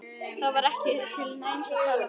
Það var ekki til neins að tala við hann.